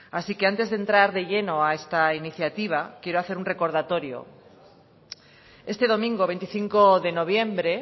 así que antes de entrar de lleno a esta iniciativa quiero hacer un recordatorio este domingo veinticinco de noviembre